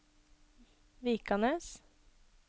Vikanes